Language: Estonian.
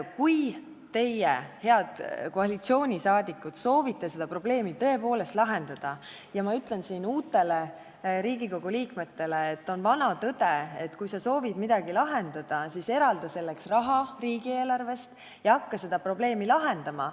Kui teie, head koalitsiooniliikmed, soovite tõepoolest seda probleemi lahendada, siis – ma ütlen seda uutele Riigikogu liikmetele – vana tõde on see, et kui sa soovid midagi lahendada, siis eralda selleks raha riigieelarvest ja hakka seda probleemi lahendama.